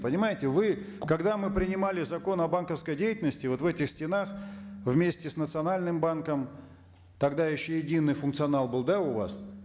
понимаете вы когда мы принимали закон о банковской деятельности вот в этих стенах вместе с национальным банком тогда еще единый фукционал был да у вас